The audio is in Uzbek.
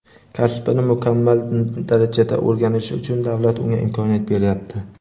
kasbini mukammal darajada o‘rganishi uchun davlat unga imkoniyat beryapti.